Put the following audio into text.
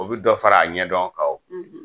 O bi dɔ fara a ɲɛdɔn kan o